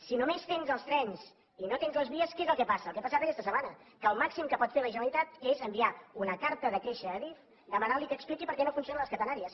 si només tens els trens i no tens les vies què és el que passa el que ha passat aquesta setmana que el màxim que pot fer la generalitat és enviar una carta de queixa a adif demanant li que expliqui per què no funcionen les catenàries